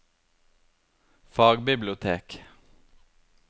fagbibliotek